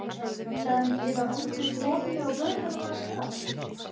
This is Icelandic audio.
Hefði hann ekki getað valdið konunni og börnum hennar skaða?